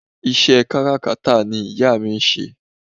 Ìṣe kárakátà ni ìyá mi ń ṣe